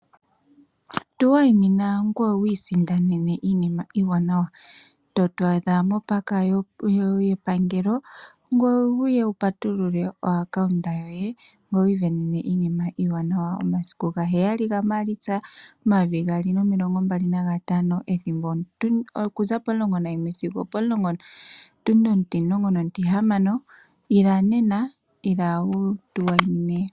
Tuwayimina ngoye wiisindanene iinima iiwanawa, totu a dha mopaaka yepangelo ngoye wu ye wupatulule oaccount yoye ngoye wi i sindanene iinima iiwanawa momasiku gaheyali gaMaalitsa omayovi gaali nomilongo mbali na gantano ethimbo oku za pomulongo nayimwe sigo opo tundi otimulongo notihamano. Ila nena, ila wu tu wayimine.